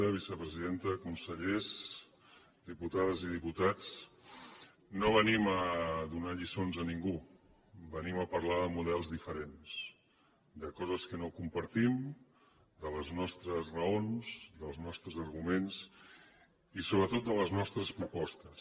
vicepresidenta consellers diputades i diputats no venim a donar lliçons a ningú venim a parlar de models diferents de coses que no compartim de les nostres raons dels nostres arguments i sobretot de les nostres propostes